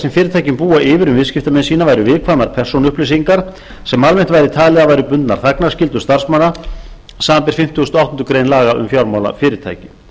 sem fyrirtækin búa yfir um viðskiptamenn sína væru viðkvæmar persónuupplýsingar sem almennt væri talið að væru bundnar þagnarskyldu starfsmanna samanber fimmtugasta og áttundu grein laga um fjármálafyrirtæki